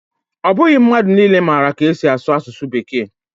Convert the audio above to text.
Ọ bụghị mmadụ niile maara ka esi asụ asụsụ Bekee